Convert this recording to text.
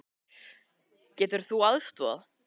Getur þú aðstoðað?